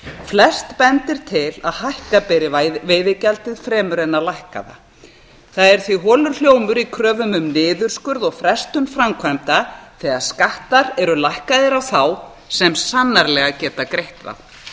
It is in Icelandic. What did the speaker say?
flest bendir til að hækka beri veiðigjaldið fremur en að lækka það það er því holur hljómur í kröfum um niðurskurð og frestun framkvæmda þegar skattar eru lækkaðir á þá sem sannarlega geta greitt þá